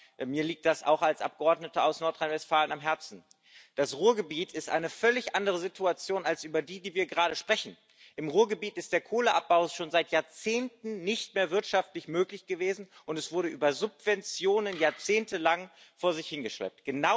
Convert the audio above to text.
Aber mir liegt das als Abgeordneter aus Nordrhein Westfalen auch am Herzen Das Ruhrgebiet ist eine völlig andere Situation als die, über die wir gerade sprechen. Im Ruhrgebiet ist der Kohleabbau schon seit Jahrzehnten nicht mehr wirtschaftlich möglich gewesen, und er wurde über Subventionen jahrzehntelang vor sich hingeschleppt.